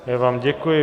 Já vám děkuji.